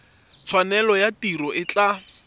tshwanelo ya tiro e tla